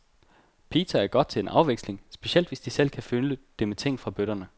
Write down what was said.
Pita er godt til en afveksling, specielt hvis de selv kan fylde det med ting fra bøtterne.